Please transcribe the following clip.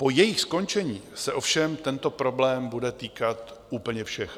Po jejich skončení se ovšem tento problém bude týkat úplně všech.